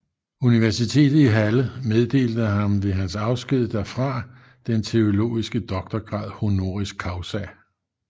Universitetet i Halle meddelte ham ved hans afsked derfra den teologiske doktorgrad honoris causa